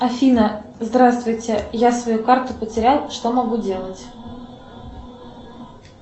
афина здравствуйте я свою карту потерял что могу делать